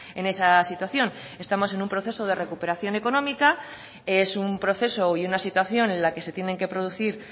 en esa situación estamos en un proceso de recuperación económica es un proceso y una situación en la que se tienen que producir